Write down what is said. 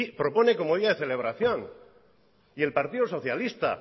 propone como día de celebración y el partido socialista